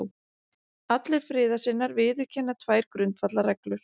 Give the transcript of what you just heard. Allir friðarsinnar viðurkenna tvær grundvallarreglur